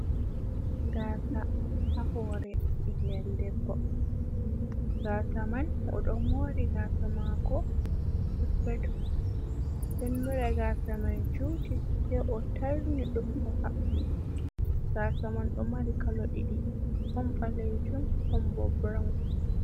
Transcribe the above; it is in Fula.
Gaasa ha hoore ɓingel debbo, gaasa man oɗo moori gaasa maako, gaasa mai juuti sei o tarni ɗum o haɓɓi, gaasa man ɗo mari kalo ɗiɗi ɗon ɓalejum ɗon bo burawun.